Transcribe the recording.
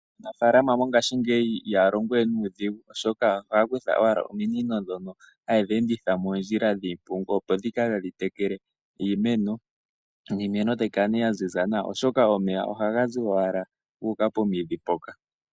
Aanafaalama mongashingeyi ihaya longo we nuudhigu, oshoka ohaya kutha owala ominino ndhono haye dhi enditha moondjila dhiimpungu, opo dhi kale tadhi tekele iimeno niimeno tayi kala nduno ya ziza nawa, oshoka omeya ohaga zi owala gu uka pomidhi mpoka.